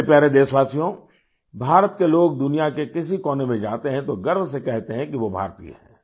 मेरे प्यारे देशवासियो भारत के लोग दुनिया के किसी कोने में जाते हैं तो गर्व से कहते हैं कि वो भारतीय हैं